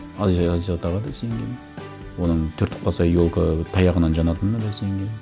аяз атаға да сенгенмін оның түртіп қалса елка таяғынан жанатынына да сенгенмін